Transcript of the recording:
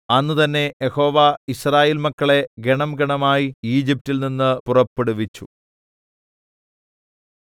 അന്ന് തന്നെ Jehovah Israel മക്കളെ ഗണംഗണമായി ഈജിപ്റ്റിൽ നിന്ന് പുറപ്പെടുവിച്ചു